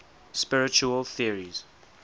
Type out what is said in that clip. spiritual theories